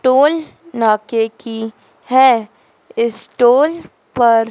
toll नाके की है इस टोल पर--